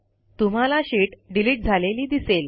तुम्हाला sheet delete झालेली दिसेल